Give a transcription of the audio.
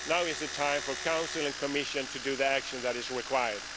Now is the time for Council and Commission to do the action that is required.